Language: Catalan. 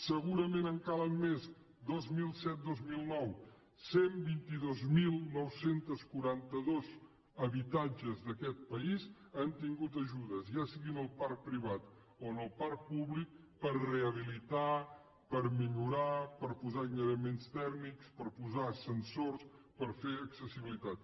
segurament en calen més dos mil set dos mil nou cent i vint dos mil nou cents i quaranta dos habitatges d’aquest país han tingut ajudes ja sigui en el parc privat o en el parc públic per rehabilitar per millorar per posar aïllaments tèrmics per posar ascensors per fer accessibilitat